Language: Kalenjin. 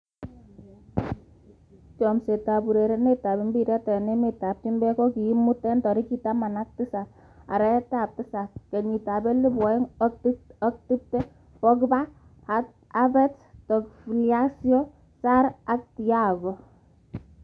Chomset ab urerenet ab mbiret eng emet ab chumbek komuut 17.07.2020: Pogba, Havertz, Tagliafico, Sarr, Thiago.